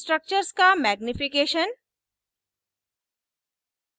structures का magnification magnification